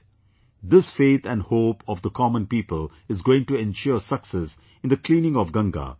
" This faith and hope of the common people is going to ensure success in the cleaning of Ganga